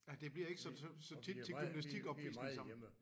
Ja det bliver ikke så så så tit til gymnastik opvisning sammen